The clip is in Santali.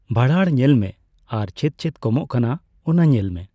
ᱵᱷᱟᱬᱟᱲ ᱧᱮᱞ ᱢᱮ ᱟᱨ ᱪᱮᱫᱪᱮᱫ ᱠᱚᱢᱚᱜ ᱠᱟᱱᱟ ᱚᱱᱟ ᱧᱮᱞ ᱢᱮ ᱾